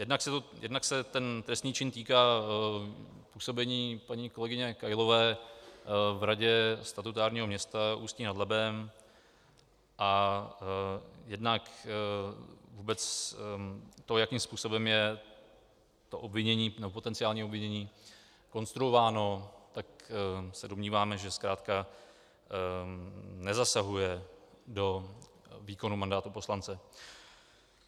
Jednak se ten trestný čin týká působení paní kolegyně Kailové v radě statutárního města Ústí nad Labem a jednak vůbec to, jakým způsobem je to obvinění nebo potenciální ovlivnění konstruováno, tak se domníváme, že zkrátka nezasahuje do výkonu mandátu poslance.